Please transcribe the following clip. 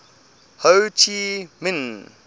ho chi minh